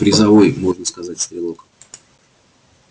призовой можно сказать стрелок